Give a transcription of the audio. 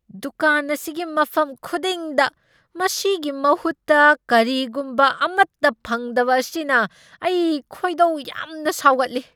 ꯗꯨꯀꯥꯟ ꯑꯁꯤꯒꯤ ꯃꯐꯝ ꯈꯨꯗꯤꯡꯗ ꯃꯁꯤꯒꯤ ꯃꯍꯨꯠꯇ ꯀꯔꯤꯒꯨꯝꯕ ꯑꯃꯠꯇ ꯐꯪꯗꯕ ꯑꯁꯤꯅ ꯑꯩ ꯈꯣꯏꯗꯧ ꯌꯥꯝꯅ ꯁꯥꯎꯒꯠꯂꯤ꯫